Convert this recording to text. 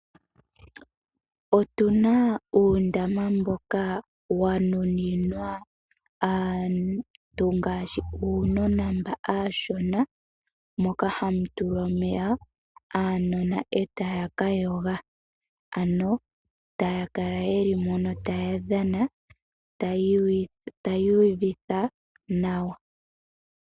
Otuna uundama mboka wanuninwa aantu ngaashi uunona mboka uushona. Ohamu tulwa omeya uunona etawu ka yoga, ano tawu kala wuli mono tawu dhana, tawu iyuvitha nawa.